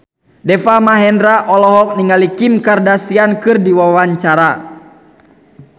Deva Mahendra olohok ningali Kim Kardashian keur diwawancara